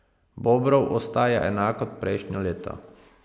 Bobrov ostaja enak kot prejšnja leta.